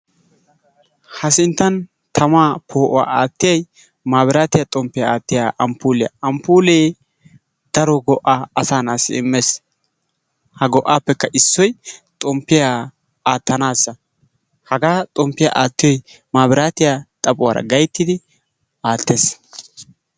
Ha sinttan tamaa poo'uwa aattiyay maabiraatiya xomppiya aattiya amppuuliya, amppuulee daro go'aa asaa na'assi immees. Ha go'aappekka issoy xomppiya aattanaassa, hagaa xomppiya aattiyoy mabraatiya xaphuwaara gayttidi aattees.